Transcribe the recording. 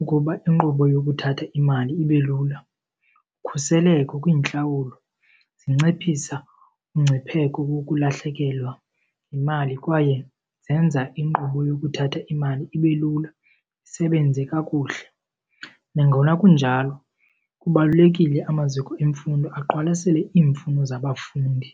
ukuba inkqubo yokuthatha imali ibe lula. Ukhuseleko kwiintlawulo zinciphisa umngcipheko wokulahlekelwa yimali kwaye zenza inkqubo yokuthatha imali ibe lula, isebenze kakuhle. Nangona kunjalo kubalulekile amaziko emfundo aqwalasele iimfuno zabafundi.